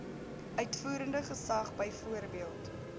uitvoerende gesag byvoorbeeld